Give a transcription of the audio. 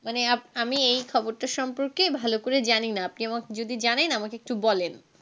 মানে আমি এই খবরটা সম্পর্কে ভালো করে জানিনা আপনি যদি জানেন আমাকে একটু বলেন.